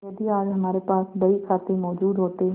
यदि आज हमारे पास बहीखाते मौजूद होते